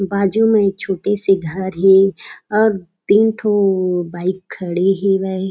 बाजू में एक छोटे- से घर हे और तीन ठो बाइक खड़े हेवय।